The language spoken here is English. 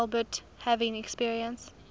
albeit having experienced